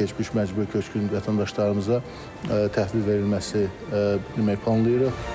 keçmiş məcburi köçkün vətəndaşlarımıza təhvil verilməsi demək, planlayırıq.